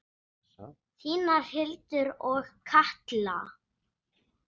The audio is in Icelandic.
Þínar Hildur og Katla.